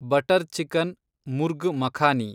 butter chicken, murgh makhani